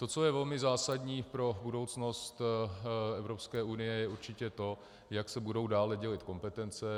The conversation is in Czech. To, co je velmi zásadní pro budoucnost Evropské unie, je určitě to, jak se budou dále dělit kompetence.